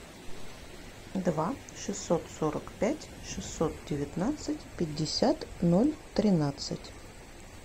два шестьсот сорок пять шестьсот девятнадцать пятьдесят ноль тринадцать